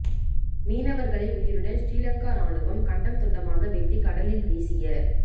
மீனவர்களை உயிருடன் சிறிலங்கா இராணுவம் கண்டம் துண்டமாக வெட்டி கடலில் வீசிய